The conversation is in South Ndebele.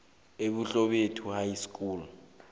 ebuhlebethu high school